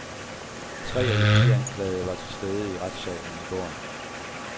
Tre af de fire anklagede var til stede i retssalen i går.